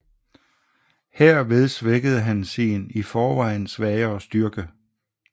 Herved svækkede han sin i forvejen svagere styrke